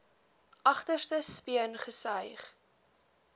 agterste speen gesuig